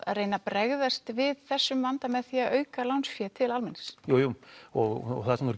reyna að bregðast við þessum vanda með því að auka lánsfé til almennings jú jú og það sem